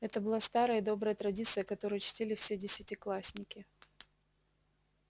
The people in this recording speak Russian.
это была старая и добрая традиция которую чтили все десятиклассники